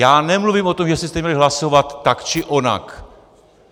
Já nemluvím o tom, jestli jste měli hlasovat tak či onak.